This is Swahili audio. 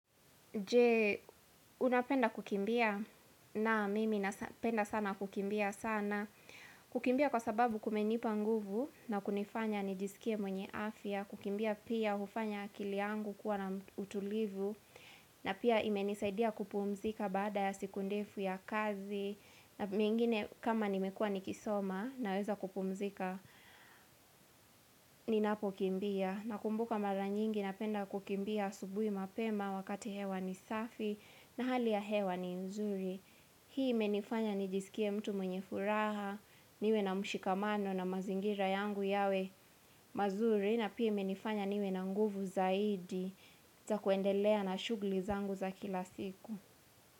Je, unapenda kukimbia? Naam, mimi napenda sana kukimbia sana. Kukimbia kwa sababu kumenipa nguvu na kunifanya nijisikie mwenye afya. Kukimbia pia hufanya akili yangu kuwa na utulivu. Na pia imenisaidia kupumzika baada ya siku ndefu ya kazi. Na mengine kama nimekua nikisoma na weza kupumzika, ninapo kimbia. Na kumbuka mara nyingi napenda kukimbia asubuhi mapema wakati hewa nisafi. Na hali ya hewa ni nzuri Hii imenifanya nijisikia mtu mwenye furaha Niwena mshikamano na mazingira yangu yawe mazuri na pia imenifanya niwe na nguvu zaidi za kuendelea na shugli zangu za kila siku.